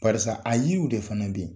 PBarisa a yiriw de fana bɛ yen